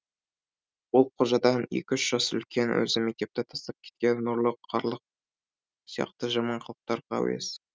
ол қожадан екі үш жас үлкен өзі мектепті тастап кеткен ұрлық қарлық сияқты жаман қылықтарға әуес